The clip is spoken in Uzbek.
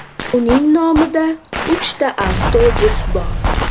Uning nomida uchta avtobus bor.